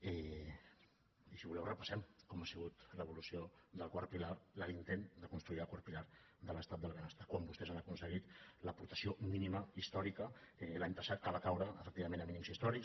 i si voleu repassem com ha sigut l’evolució del quart pilar l’intent de construir el quart pilar de l’estat del benestar quan vostès han aconseguit l’aportació mínima històrica l’any passat que va caure efectivament a mínims històrics